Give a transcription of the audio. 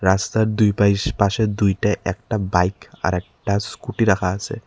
রাস্তার দুই পাইশ পাশে দুইটা একটা বাইক আর একটা স্কুটি রাখা আসে।